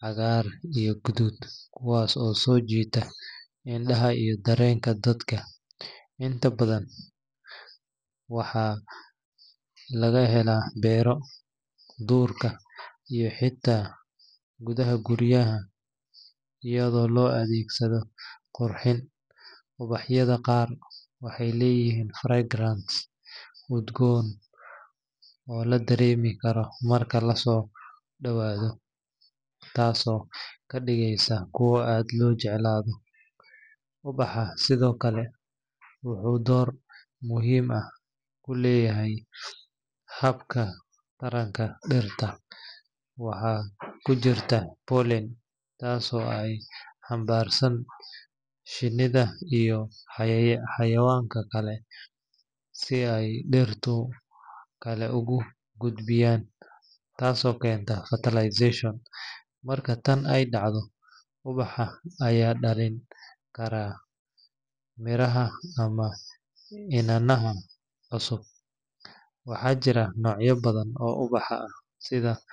caddaan, iyo guduud, kuwaas oo soo jiita indhaha iyo dareenka dadka. Inta badan ubaxa waxaa laga helaa beero, duurka, iyo xitaa gudaha guryaha iyadoo loo adeegsado qurxin. Ubaxyada qaar waxay leeyihiin fragrance udgoon oo la dareemi karo marka la soo dhawaado, taasoo ka dhigaysa kuwo aad loo jeclaado. Ubaxu sidoo kale wuxuu door muhiim ah ku leeyahay habka taranka dhirta. Waxaa ku jira pollen, taasoo ay xambaaraan shinnida iyo cayayaanka kale si ay dhiraha kale ugu gudbiyaan, taasoo keenta fertilization. Marka tan ay dhacdo, ubaxa ayaa dhalin kara miraha ama iniinaha cusub. Waxaa jira noocyo badan oo ubax ah sida.